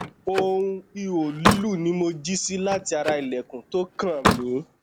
ohun iho lilu ni mo ji si lati ara ilẹkun to kan mi